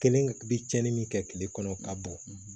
Kelen bi cɛnni min kɛ kile kɔnɔ ka bɔ